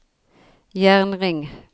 jernring